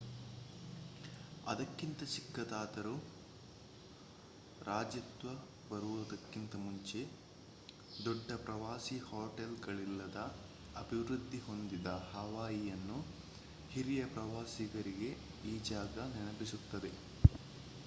ಅದಕ್ಕಿಂತ ಚಿಕ್ಕದಿದ್ದರೂ ರಾಜ್ಯತ್ವ ಬರುವುದಕ್ಕಿಂತ ಮುಂಚೆ ದೊಡ್ಡ ಪ್ರವಾಸಿ ಹೊಟೇಲ್ಗಳಿಲ್ಲದ ಅಭಿವೃದ್ಧಿ ಹೊಂದದ ಹವಾಯಿಯನ್ನು ಹಿರಿಯ ಪ್ರವಾಸಿಗರಿಗೆ ಈ ಜಾಗ ನೆನಪಿಸುತ್ತದೆ